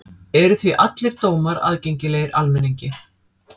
Eru því allir dómar aðgengilegir almenningi.